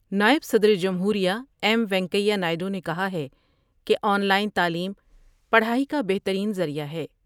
نائب صدر جمہور یہ ایم وینکیا نائیڈو نے کہا ہے کہ آن لائن تعلیم پڑھائی کا بہترین ذریعہ ہے ۔